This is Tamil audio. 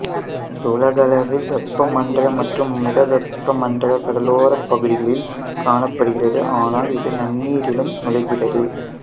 இது உலகளவில் வெப்பமண்டல மற்றும் மிதவெப்ப மண்டல கடலோர பகுதிகளில் காணப்படுகிறது ஆனால் இது நன்னீரிலும் நுழைகிறது